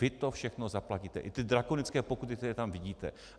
Vy to všechno zaplatíte, i ty drakonické pokuty, které tam vidíte.